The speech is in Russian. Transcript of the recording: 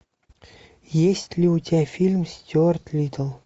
есть ли у тебя фильм стюарт литтл